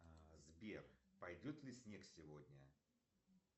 сбер пойдет ли снег сегодня